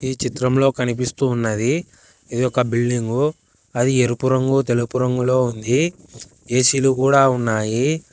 ఈ చిత్రంలో కనిపిస్తూ ఉన్నది ఇది ఒక బిల్డింగు అది ఎరుపు రంగు తెలుపు రంగులో ఉంది ఏ_సీ లు కూడా ఉన్నాయి.